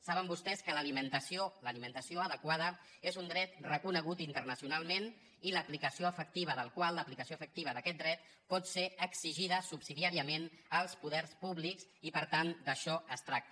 saben vostès que l’alimentació l’alimentació adequada és un dret reconegut internacionalment i l’aplicació efectiva del qual aplicació efectiva d’aquest dret pot ser exigida subsidiàriament als poders públics i per tant d’això es tracta